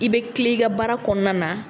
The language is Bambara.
I bɛ tile i ka baara kɔnɔna na